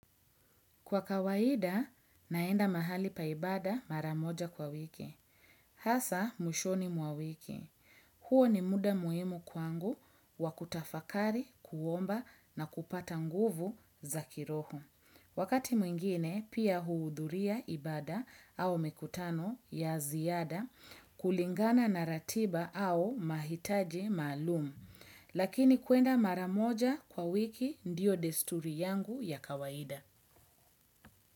Kwa kawaida, naenda mahali paibada maramoja kwa wiki. Hasa, mwishoni mwa wiki. Huo ni muda muimu kwangu wakutafakari, kuomba na kupata nguvu za kiroho. Wakati mwingine, pia huudhuria ibada au mikutano ya ziada, kulingana na ratiba au mahitaji malumu. Lakini kwenda maramoja kwa wiki ndio desturi yangu ya kawaida.